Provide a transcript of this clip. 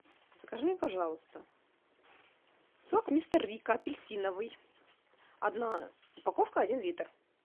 закажи мне пожалуйста сок мистер рикко апельсиновый одна упаковка один литр